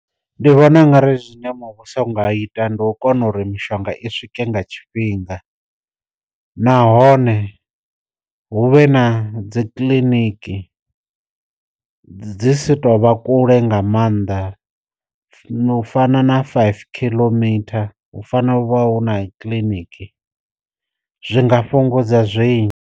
Ndi vhona u ngari zwine muvhuso u nga ita ndi u kona uri mishonga i swike nga tshifhinga, nahone hu vhe na dzi kiḽiniki dzi si to vha kule nga mannḓa u fana na five kilometer, hu fanela u vha hu na kiliniki zwi nga fhungudza zwinzhi.